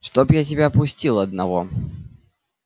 чтоб я тебя пустил одного